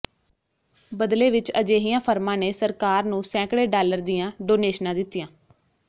ਬਦਲੇ ਵਿੱਚ ਅਜਿਹੀਆਂ ਫਰਮਾਂ ਨੇ ਸਰਕਾਰ ਨੂੰ ਸੈਂਕੜੇ ਡਾਲਰ ਦੀਆਂ ਡੋਨੇਸ਼ਨਾਂ ਦਿੱਤੀਆਂ